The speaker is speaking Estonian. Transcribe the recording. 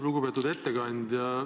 Lugupeetud ettekandja!